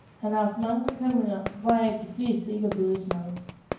Han har haft mange bekymringer, hvoraf de fleste ikke er blevet til noget.